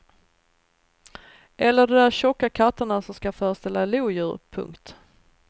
Eller de där tjocka katterna som ska föreställa lodjur. punkt